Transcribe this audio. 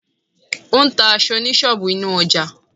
Ó ń ta aṣọ ní ṣọ́ọ̀bù inú ọjà.